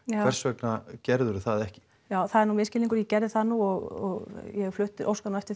hvers vegna gerðir þú það ekki það er nú misskilingur ég gerði það nú og ég óska nú eftir